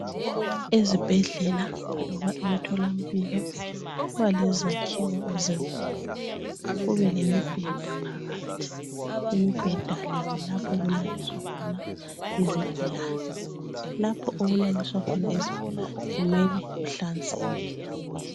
Ezibhedlela loba emtholampilo kubalezakhiwo ezinkulu kubelemibheda phakathi ,imibheda le kulapho olulaliswa khona izigulane, lapho okulaliswa khona izigulane mele kuhlanzeke.